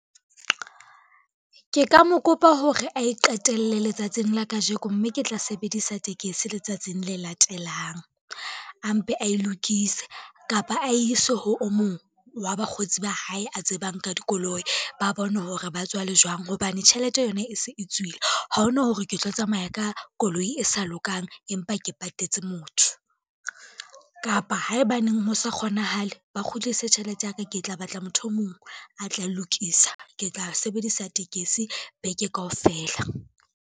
Ke ka mo kopa hore ae qetelle letsatsing la kajeko, mme ke tla sebedisa tekesi letsatsing le latelang. A mpe a e lokise kapa a ise ho o mong wa bakgotsi ba hae a tsebang ka dikoloi ba bone hore ba tswa le jwang, hobane tjhelete yona e se e tswile, ha hona hore ke tlo tsamaya ka koloi e sa lokang, empa ke patetse motho. Kapa haebaneng ho sa kgonahale ba kgutlise tjhelete ya ka, ke tla batla motho e mong a tla e lokisa, ke tla sebedisa tekesi beke kaofela.